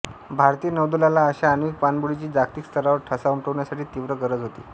भारतीय नौदलाला अशा आण्विक पाणबुडीची जागतिक स्तरावर ठसा उमटवण्यासाठी तीव्र गरज होती